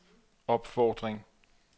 opfordring